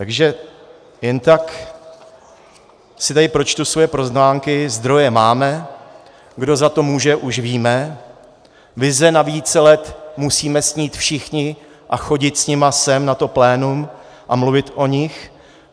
Takže jen tak si tady pročtu svoje poznámky: zdroje máme, kdo za to může, už víme, vize na více let, musíme snít všichni a chodit s nimi sem na to plénum a mluvit o nich.